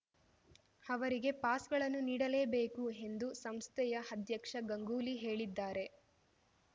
ಅವರಿಗೆ ಪಾಸ್‌ಗಳನ್ನು ನೀಡಲೇಬೇಕು ಎಂದು ಸಂಸ್ಥೆಯ ಅಧ್ಯಕ್ಷ ಗಂಗೂಲಿ ಹೇಳಿದ್ದಾರೆ